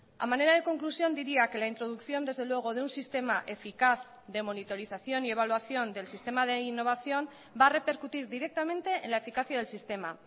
a manera de conclusión diría que la introducción desde luego de un sistema eficaz de monitorización y evaluación del sistema de innovación va a repercutir directamente en la eficacia del sistema